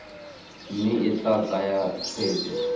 mme e tla tsaya tshwetso